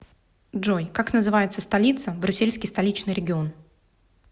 джой как называется столица брюссельский столичный регион